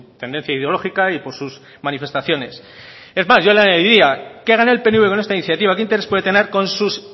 tendencia ideológica y por sus manifestaciones es más yo le añadiría qué gana el pnv con esta iniciativa qué interés puede tener con sus